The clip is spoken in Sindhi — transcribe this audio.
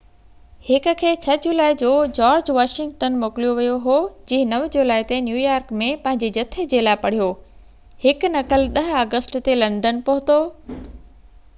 هڪ کي 6 جولائي جو جارج واشنگٽن موڪوليو ويو هو جنهن 9 جولائي تي نيويارڪ ۾ پنهنجي جٿي جي لاءِ پڙهيو هڪ نقل 10 آگسٽ تي لنڊن پهتو